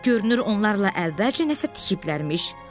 Görünür, onlarla əvvəlcə nəsə tikiblərmiş.